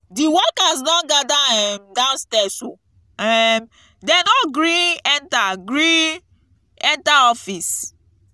di workers don gather um downstirs o um dey no gree enter gree enter office.